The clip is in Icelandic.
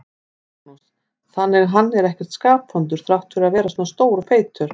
Magnús: Þannig að hann er ekkert skapvondur þrátt fyrir að vera svona stór og feitur?